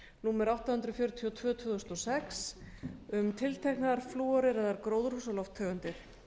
númer átta hundruð fjörutíu og tvö tvö þúsund og sex um tilteknar flúoreraðar gróðurhúsalofttegundir